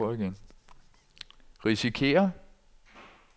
risikerer